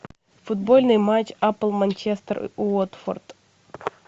футбольный матч апл манчестер уотфорд